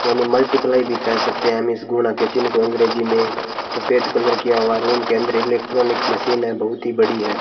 यानी मल्टीप्लाई भी कह सकते हैं हम इस गुना के चिन्ह को अंग्रेजी में सफेद कलर किया हुआ है रूम के अंदर इलेक्ट्रॉनिक मशीन है बहुत ही बड़ी है।